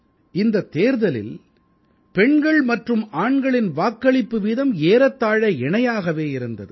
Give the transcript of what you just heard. இந்தத் தேர்தலில் பெண்கள் மற்றும் ஆண்களின் வாக்களிப்பு வீதம் ஏறத்தாழ இணையாகவே இருந்தது